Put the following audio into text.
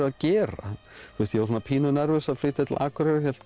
að gera ég var pínu nervös að flytja til Akureyrar hélt